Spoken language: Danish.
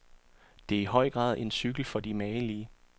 Det er i høj grad en cykel for de magelige.